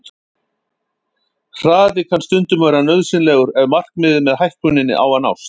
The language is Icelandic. Hraði kann stundum að vera nauðsynlegur ef markmiðið með hækkuninni á að nást.